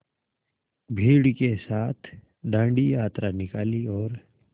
भीड़ के साथ डांडी यात्रा निकाली और